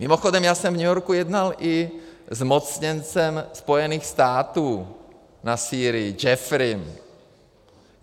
Mimochodem já jsem v New Yorku jednal i se zmocněncem Spojených států na Sýrii Jeffreyem.